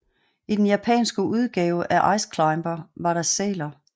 I den japanske udgave af Ice Climber var der sæler